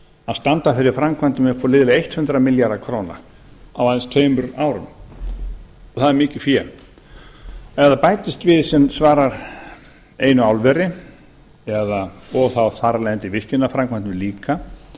að standa fyrir framkvæmdum upp á liðlega hundrað milljarða króna á aðeins tveimur árum það er mikið fé ef það bætist við sem svarar einu álveri eða þar af leiðandi virkjunarframkvæmdum líka